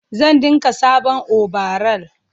zan dinka sabon obaral